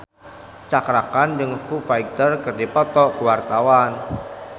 Cakra Khan jeung Foo Fighter keur dipoto ku wartawan